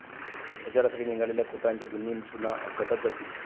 प्रचारासाठी निघालेल्या खोतांच्या दोन्ही सुना अपघातात जखमी